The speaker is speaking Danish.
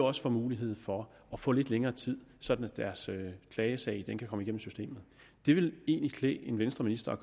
også får mulighed for at få lidt længere tid sådan at deres klagesag kan komme igennem systemet det ville egentlig klæde en venstreminister at